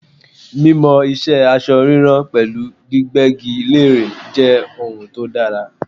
Mímọ ìṣe aṣọ ríran pẹ̀lú gbígbégi lére jẹ́ ohun tó dára.